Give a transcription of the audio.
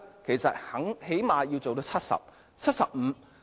最少也可工作至70歲、75歲。